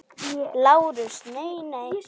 LÁRUS: Nei, nei!